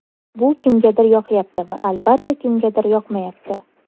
Bu kimgadir yoqyapti va, albatta, kimgadir yoqmayapti.